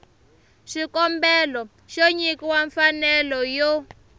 xikombelo xo nyikiwa mfanelo yo